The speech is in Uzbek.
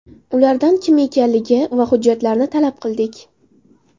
Ulardan kim ekanligi va hujjatlarini talab qildik.